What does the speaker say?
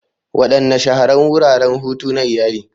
Wadanne Shahararrun Wuraren Hutu na Iyali?